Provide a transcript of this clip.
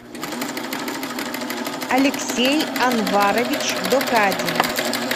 алексей анварович докадин